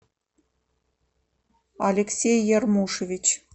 алексей ярмушевич